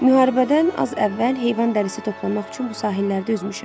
Müharibədən az əvvəl heyvan dərisi toplamaq üçün bu sahillərdə üzmüşəm.